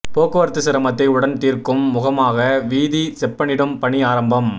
போக்குவரத்து சிரமத்தை உடன் தீர்க்கும் முகமாக வீதி செப்பணிடும் பணி ஆரம்பம்